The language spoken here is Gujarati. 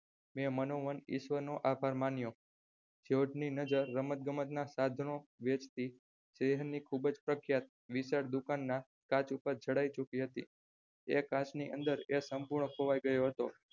મેં મનોમન ઈશ્વરનો આભાર માન્યો જ્યોર્જ ની નજર રમત ગમત સાધનો વેચતી શહેરની ખુબજ પ્રખ્યાત દુકાનના કાચ ઉપર જાડાઈ ચુકી હતી એ કાચની અંદર એ સંપૂર્ણ ખોવાય ગયો હતો.